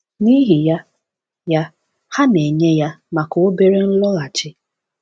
N’ihi ya, ya, ha na-enye ya maka obere nloghachi.